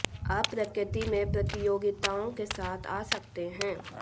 आप प्रकृति में प्रतियोगिताओं के साथ आ सकते हैं